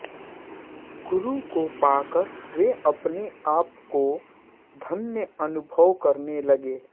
गुरु को पाकर वे अपनेआपको धन्य अनुभव करने लगे